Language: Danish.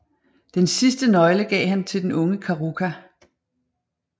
Den sidste nøgle gav han til den unge Karuka